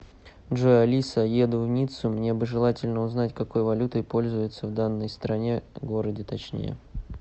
джой алиса еду в ниццу мне бы желательно узнать какой валютой пользуются в данной стране городе точнее